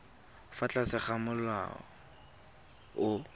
fa tlase ga molao o